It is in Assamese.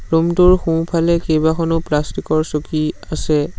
ৰুম টোৰ সোঁ ফালে কেইবাখনো প্লাষ্টিক ৰ চকী আছে।